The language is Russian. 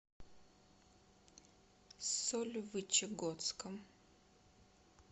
сольвычегодском